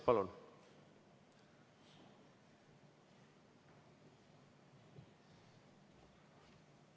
Palun!